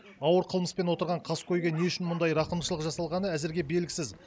ауыр қылмыспен отырған қаскөйге не үшін мұндай рақымшылық жасалғаны әзірге белгісіз